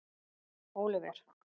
Oliver